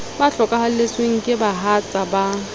ba hlokahalletsweng ke bahatsa ba